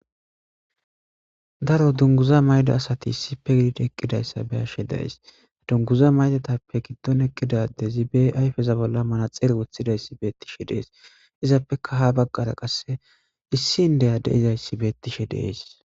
daro dunguza mayda asati issipe gidida eqqidayssa beashe days dunguza maytatappe giddon eqqidadezi be ayfeza bolla mana xeere wothidayssi beettishe dees izappeka ha baggara qasse issindeya de izayssi beettishe dees